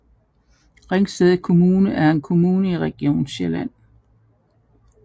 Ringsted Kommune er en kommune i Region Sjælland